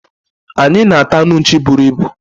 anyị na ata anụ nchi buru ibu